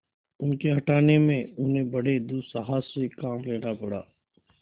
उनके हटाने में उन्हें बड़े दुस्साहस से काम लेना पड़ा